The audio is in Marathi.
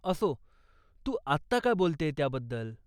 असो, तू आत्ता का बोलतेय त्याबद्दल?